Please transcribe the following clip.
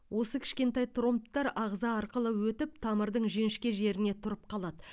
осы кішентай тромбтар ағза арқылы өтіп тамырдың жіңішке жеріне тұрып қалады